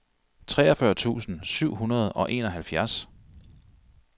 treogfyrre tusind syv hundrede og enoghalvfjerds